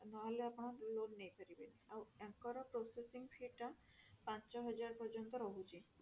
ନହେଲେ ଆପଣ loan ନେଇପାରିବେନି ଆଉ ଆଙ୍କର processing fee ଟା ପାଞ୍ଚ ହଜାର ପର୍ଯ୍ୟନ୍ତ ରହୁଛି